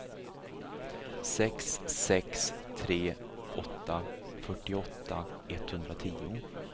sex sex tre åtta fyrtioåtta etthundratio